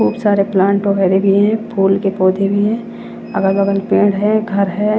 खूब सारे प्लांट वगैरे भी हैं फूल के पौधे भी हैं अगल बगल पेड़ है घर है।